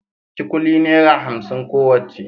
kikuli naira hamsin kowacce